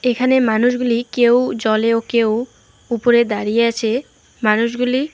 এখানে মানুষগুলি কেউ জলে ও কেউ উপরে দাঁড়িয়ে আছে মানুষগুলি --